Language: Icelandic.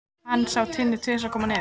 Hann sá Tinnu tvisvar koma niður.